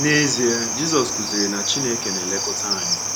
N’ezie, Jizọs kụziri na Chineke na -elekọta anyị.